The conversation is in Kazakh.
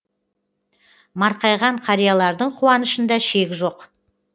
марқайған қариялардың қуанышында шек жоқ